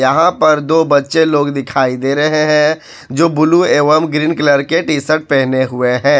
यहां पर दो बच्चे लोग दिखाई दे रहे हैं जो ब्लू एवं ग्रीन कलर के टी शर्ट पहने हुए हैं।